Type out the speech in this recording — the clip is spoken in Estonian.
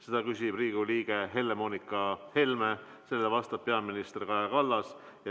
Selle küsib Riigikogu liige Helle-Moonika Helme, vastab peaminister Kaja Kallas.